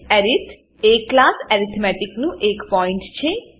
અરિથ એ class arithmetic નું એક પોઇન્ટ છે